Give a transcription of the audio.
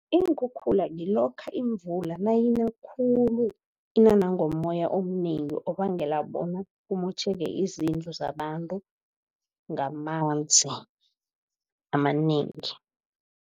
Iinkhukhula ngilokha imvula nayina khulu ina nangommoya omnengi obangela bona kumotjheke izindlu zabantu ngamanzi amanengi.